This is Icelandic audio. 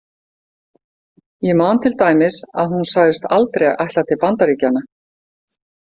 Ég man til dæmis að hún sagðist aldrei ætla til Bandaríkjanna.